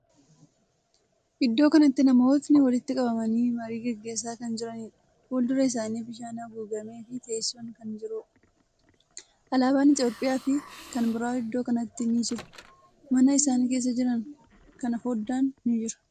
Iddoo kanatti namootni walitti qabamanii marii gaggeessaa kan jiraniidha. Fuuldura isaanii bishaan haguugamee fi teessoon kan jiruudha. Alaaban Itiyoophiyyaa fi kan biraa iddoo kanatti ni jiru. Mana isaan keessa jiran kana foddaan ni jira.